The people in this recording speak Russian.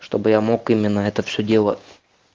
чтобы я мог именно это все дело